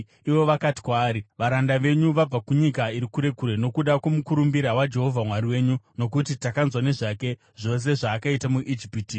Ivo vakati kwaari, “Varanda venyu vabva kunyika iri kure kure nokuda kwomukurumbira waJehovha Mwari wenyu. Nokuti takanzwa nezvake: zvose zvaakaita muIjipiti,